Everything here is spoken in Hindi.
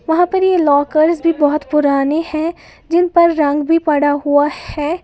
वहां पर यह लॉकर्स भी बहोत पुराने हैं जिन पर रंग भी पड़ा हुआ है।